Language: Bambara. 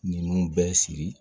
Ninnu bɛɛ sigi